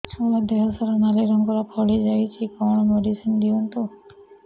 ଛୁଆ ଦେହ ସାରା ନାଲି ରଙ୍ଗର ଫଳି ଯାଇଛି କଣ ମେଡିସିନ ଦିଅନ୍ତୁ